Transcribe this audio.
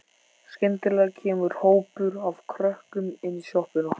Skyndilega kemur hópur af krökkum inn í sjoppuna.